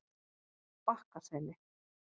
Bakkaseli